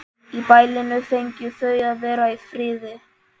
Í bælinu fengju þau að vera í friði.